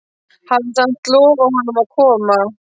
Hafði samt lofað honum að koma.